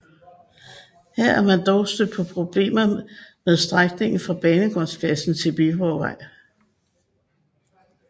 Her er man dog stødt på problemer med strækningen fra Banegårdspladsen til Viborgvej